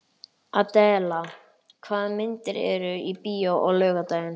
Adela, hvaða myndir eru í bíó á laugardaginn?